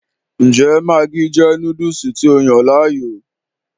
Ǹjẹ́ maggi jẹ́ Núdùùsù tí o yàn láàyò?